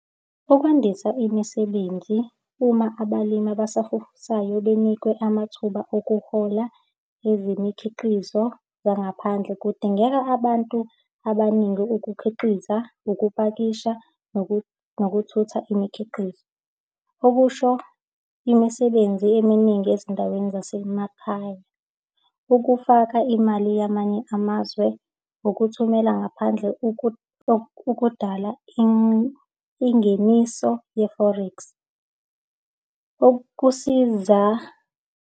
Ukwandisa imisebenzi uma abalimi abasafufusayo benikwe amathuba okuhola ezemikhiqizo yangaphandle, kudingeka abantu abaningi ukukhiqiza, ukupakisha, nokuthutha imikhiqizo. Okusho imisebenzi eminingi ezindaweni zasemakhaya. Ukufaka imali yamanye amazwe nokuthumela ngaphandle, okudala ingeniso ye-forex. Ukusiza.